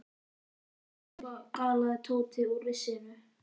Réttu mér svefnpokana galaði Tóti úr risinu.